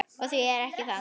Og því ekki það.